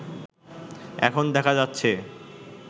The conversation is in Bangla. এখন দেখা যাচ্ছে